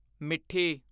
ਮਿੱਠੀ